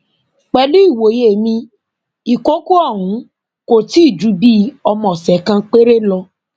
pẹlú ìwòye mi ìkọkọ ọhún kò tí ì ju bíi ọmọ ọsẹ kan péré lọ